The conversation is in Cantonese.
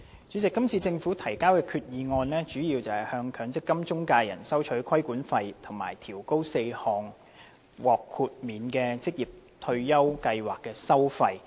主席，今次政府提交的決議案主要是向強制性公積金中介人收取規管費及調高4項獲豁免的職業退休計劃的收費。